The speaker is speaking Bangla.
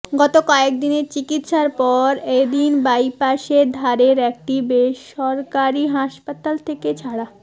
গত কয়েকদিনের চিকিৎসার পর এদিন বাইপাসের ধারের একটি বেসরকারি হাসপাতাল থেকে ছাড়া